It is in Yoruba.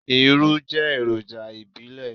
Irú jẹ́ èròjà ìbílẹ̀.